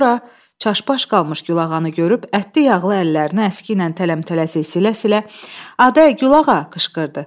Sonra çaşbaş qalmış gülağanı görüb, ətli-yağlı əllərini əski ilə tələm-tələsik silə-silə, Aday Gülağa qışqırdı.